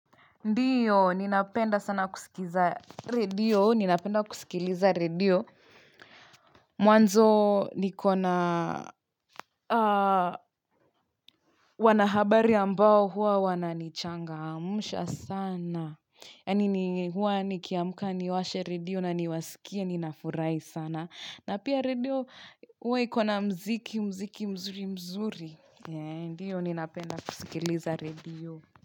Ndiyo, ninapenda sana kusikiza redio, ninapenda kusikiliza redio. Mwanzo nikona wanahabari ambao huwa wananichangamsha sana. Yani ni huwa nikiamka niwashe redio na niwasikie ninafurahi sana na pia redio huwa iko na muziki mzuri mzuri Ndiyo, ninapenda kusikiliza radio.